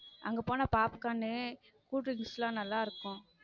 அங்க போனா popcorn cool drinks லாம் நல்லா இருக்கும்